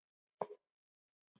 Siðum og háttum.